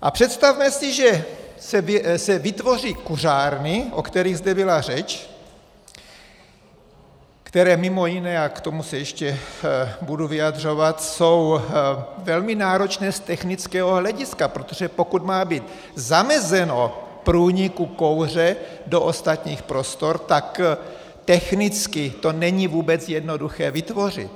A představme si, že se vytvoří kuřárny, o kterých zde byla řeč, které mimo jiné, a k tomu se ještě budu vyjadřovat, jsou velmi náročné z technického hlediska, protože pokud má být zamezeno průniku kouře do ostatních prostor, tak technicky to není vůbec jednoduché vytvořit.